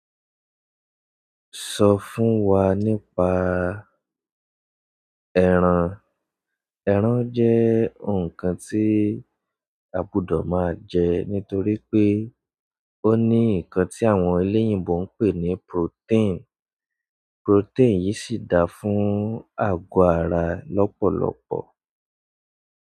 Sọ fún wa nípa ẹran. Ẹran jẹ́ ǹkan tí a gbúdọ̀ máa jẹ nítorí pé ó ní ǹkan tí àwọn eléyìnbó ń pè ní protein. Protein yìí sì dáa fún àgọ́ ara lọ́pọ̀lọpọ̀.